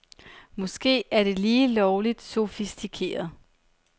Måske er det lige lovligt sofistikeret.